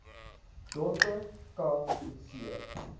dorpe ca coetzee